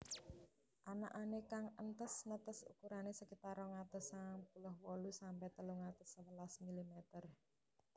Anakané kang entes netes ukurané sekitar rong atus sangang puluh wolu sampe telung atus sewelas milimeter